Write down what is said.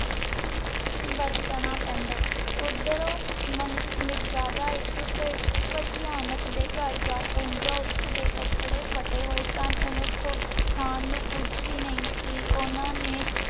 ਬਰਤਨਾਂ ਪੈਂਦਾ। ਓਦਰੋਂ ਮੈ ਮਿਰਜਾਦਾ ਇਕ ਦੇ ਘਰ ਜਾ ਪੋਹ੍ਨ੍ਚਾ ਓਸਦੀ ਕਪਰੇ ਫਟੇ ਹੋਏ ਸਨ। ਓਹੋ ਖਾਂ ਨੂ ਕੁਜ ਵੀ ਨਾਈ ਸੀ। ਓਹਨਾਂ ਨੇ